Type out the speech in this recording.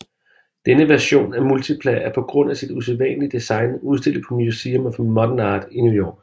Denne version af Multipla er på grund af sit usædvanlige design udstillet på Museum of Modern Art i New York